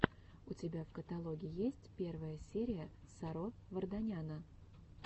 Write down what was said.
у тебя в каталоге есть первая серия саро варданяна